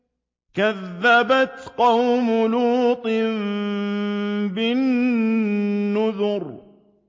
كَذَّبَتْ قَوْمُ لُوطٍ بِالنُّذُرِ